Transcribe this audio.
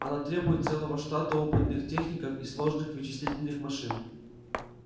она требует целого штата опытных техников и сложных вычислительных машин